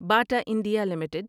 Bata India limited